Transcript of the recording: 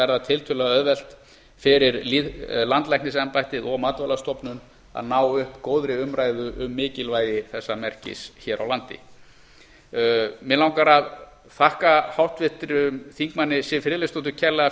verða tiltölulega auðvelt fyrir landlæknisembættið og matvælastofnun að ná upp góðri umræðu um mikilvægi þessa merkis hér á landi mig langar að þakka háttvirtum þingmanni siv friðleifsdóttur kærlega